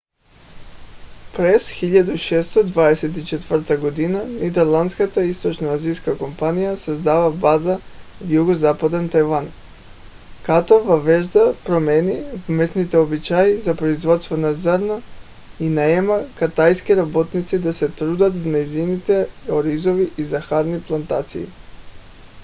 през 1624 г. нидерландската източноиндийска компания създава база в югозападен тайван като въвежда промени в местните обичаи за производство на зърно и наема китайски работници да се трудят в нейните оризови и захарни плантации